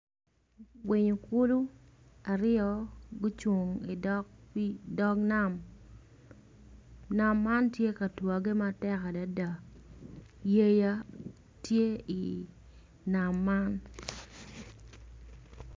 Winyo kulu ryo gucung i dog nam, nam man tye ka twagge matek adada, yeya tye i wi pii nam man.